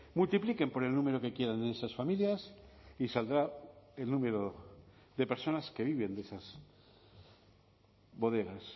multipliquen por el número que quieran en esas familias y saldrá el número de personas que viven de esas bodegas